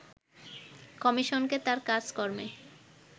কমিশনকে তার কাজকর্মে